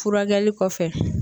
Furakɛli kɔfɛ.